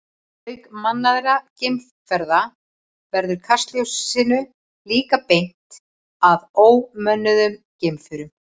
Auk mannaðra geimferða verður kastljósinu líka beint að ómönnuðum geimförum.